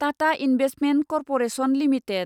Tata investment corporation limited